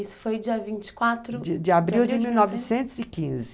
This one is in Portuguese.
Isso foi dia 24 de abril ? dia 24 de abril de 1915.